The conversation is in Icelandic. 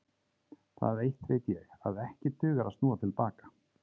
Það eitt veit ég, að ekki dugar að snúa til baka.